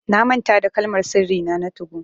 Na manta da Kalmar sirri nà na 2go.